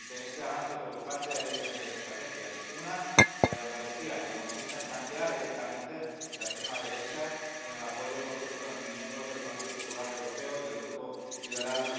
Ante este avance preocupante hay diferentes estrategias una, la de Andalucía, que consiste en blanquear directamente la extrema derecha con el apoyo, por cierto, de miembros del Grupo del Partido Popular Europeo y del Grupo ALDE.